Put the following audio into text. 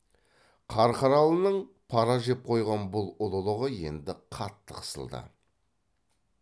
қарқаралының пара жеп қойған бұл ұлылығы енді қатты қысылды